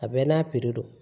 A bɛɛ n'a don